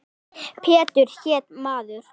Pétur hét maður.